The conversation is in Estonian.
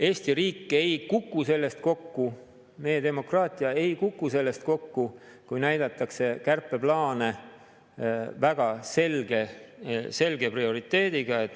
Eesti riik ei kuku sellest kokku, meie demokraatia ei kuku sellest kokku, kui näidatakse kärpeplaane väga selge prioriteediga.